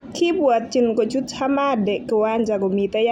Kibwatyin kochut Ahmadi kiwanja komitei ak Messi.